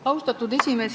Austatud esimees!